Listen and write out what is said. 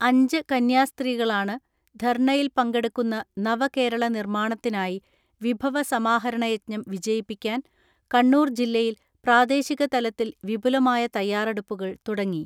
അഞ്ച് കന്യാസ്ത്രീകളാണ് ധർണ്ണയിൽ പങ്കെടുക്കുന്ന നവകേരള നിർമ്മാണത്തിനായി വിഭവ സമാഹരണ യജ്ഞം വിജയിപ്പിക്കാൻ കണ്ണൂർ ജില്ലയിൽ പ്രാദേശിക തലത്തിൽ വിപുലമായ തയ്യാറെടുപ്പുകൾ തുടങ്ങി.